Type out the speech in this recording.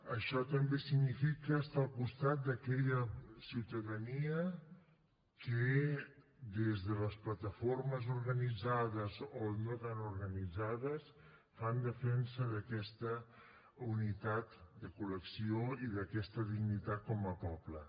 això també significa estar al costat d’aquella ciutadania que des de les plataformes organitzades o no tan organitzades fan defensa d’aquesta unitat de col·lecció i d’aquesta dignitat com a poble